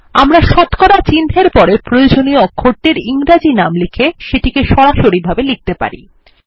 আমরা শতকরা চিহ্ন এর পরে প্রয়োজনীয় অক্ষরটির ইংরাজি নাম লিখে সেটিকে সরাসরিভাবে লিখতে পারি